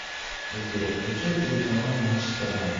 сбер включай телеканал матч страна